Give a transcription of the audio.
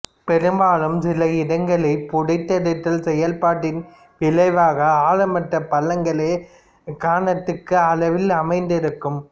பெரும்பாலும் சில இடங்களில் புடைத்தெடுத்தல் செயல்பாட்டின் விளைவாக ஆழமற்ற பள்ளங்களே காணத்தக்க அளவில் அமைந்திருக்கும்